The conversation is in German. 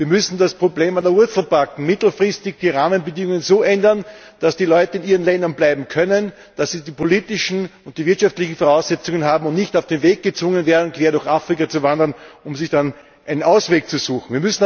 Wir müssen das Problem an der Wurzel packen und mittelfristig die Rahmenbedingungen so ändern, dass die Leute in ihren Ländern bleiben können, dass sie die politischen und die wirtschaftlichen Voraussetzungen haben und nicht auf den Weg gezwungen werden, quer durch Afrika zu wandern, um sich dann einen Ausweg zu suchen.